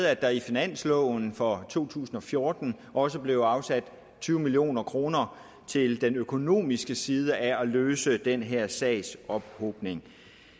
er der i finansloven for to tusind og fjorten også blevet afsat tyve million kroner til den økonomiske side af at løse den her sagsophobning